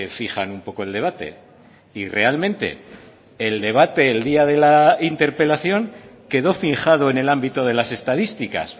fijan un poco el debate y realmente el debate el día de la interpelación quedó fijado en el ámbito de las estadísticas